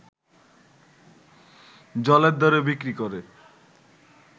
জলের দরে বিক্রি করে